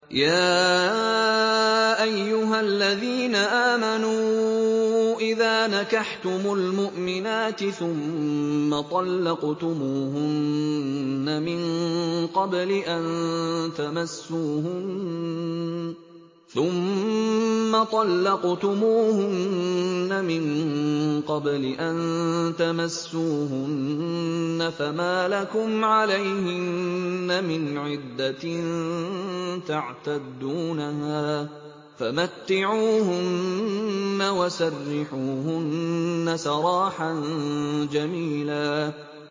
يَا أَيُّهَا الَّذِينَ آمَنُوا إِذَا نَكَحْتُمُ الْمُؤْمِنَاتِ ثُمَّ طَلَّقْتُمُوهُنَّ مِن قَبْلِ أَن تَمَسُّوهُنَّ فَمَا لَكُمْ عَلَيْهِنَّ مِنْ عِدَّةٍ تَعْتَدُّونَهَا ۖ فَمَتِّعُوهُنَّ وَسَرِّحُوهُنَّ سَرَاحًا جَمِيلًا